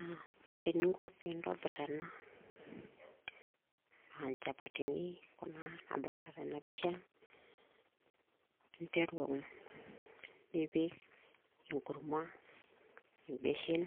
aa ore ta eningo pintobir ena a nchapatini kuna nadolita tena picha, ntreru nipik enkurma ebenshen,